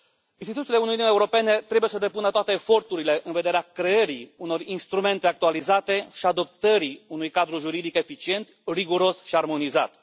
Instituțiile Uniunii Europene trebuie să depună toate eforturile în vederea creării unor instrumente actualizate și adoptării unui cadru juridic eficient, riguros și armonizat.